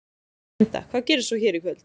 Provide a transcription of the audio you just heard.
Linda: Hvað gerist svo hér í kvöld?